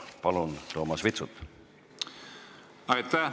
Palun, Toomas Vitsut!